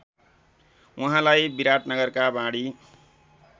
उहाँलाई विराटनगरका वाणि